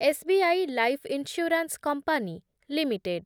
S B I life insurance company limited